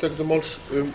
er málið leyst